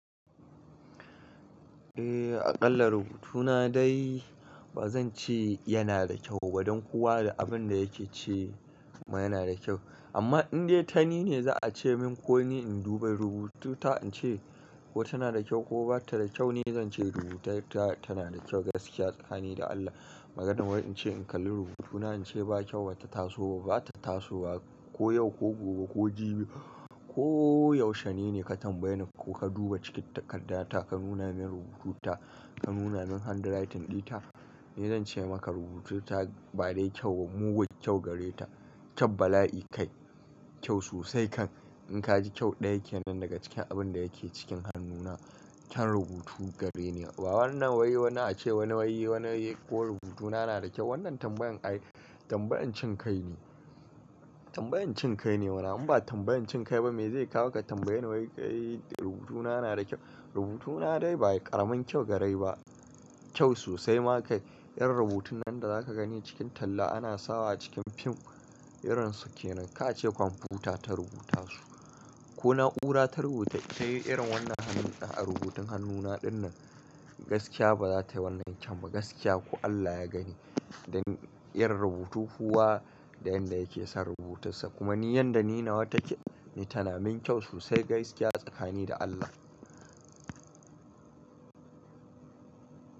Eh, aƙalla rubutuna dai ba zan ce yana da kyau ba dan kowa da abin da yake ce ma yana da kyau. Amma in dai ta ni ne za a ce min ko ni in duba rubutu ta in ce ko tana da kyau ko ba ta da kyau, ni zan ce rubuta ta tana da kyau gaskiya tsakani da Allah. Maganar wai in ce in kalli rubutuna in ce ba kyau, ba ta taso ba, ba ta tasowa ko yau ko gobe ko jibi ko yaushe ne ne, ka tambaye ni ko ka duba cikin takarda ta ka nuna min rubutu ta, ka nuna min handwriting ɗinta, ni zan ce maka rubutu ta ba dai kyau, mugun kyau gare ta. Kyab bala'i kai, kyau sosai kan. In ka ji kyau ɗaya yake nan daga cikin abin da yake cikin hannuna, kyan rubutu gare ni ne. Wa wannan wai wani ace wani wai wani ko rubutuna na da kyau. Wannan tambayan ai tambayan cin kai ne. Tambayan cin kai ne. In ba tambayan cin kai ba mai zai kawo ka tambaye ni wai rubutuna yana da kyau, rubuna dai ba ƙaramin kyau garai ba, kyau sosai kai. Irin rubutun nan da zaka gani a cikin talla ana sawa a cikin fim. Irin su kenan. Ka ce kwamfuta ta rubuta su ko na'ura ta rubuta, ta yi irin wannan hannun a rubutun hannuna ɗin nan. Gaskiya ba za ta yi wannan kyau ba gaskiya ko Allah ya gani. Dan irin rubutu kowa da yanda yake san rubutunsa. Kuma ni yanda ni na wa take, ni tana min kyau sosai gaskiya tsakani da Allah.